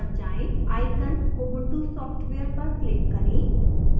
icon ubuntu software पर click करें